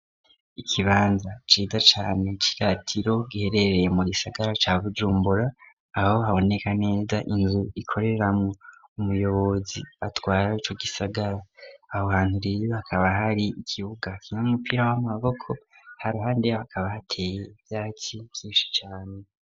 Ikibanza ciza cane ciratiro, giherereye mu gisagara ca Bujumbura, aho haboneka neza inzu ikoreramwo umuyobozi atwara ico gisagara, aho hantu rero hakaba hari ikibuga kirimwo umupira w'amaboko, ha ruhande yaho hakaba hateye ivyatsi vyinshi cane.